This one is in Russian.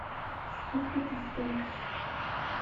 сколько ты стоишь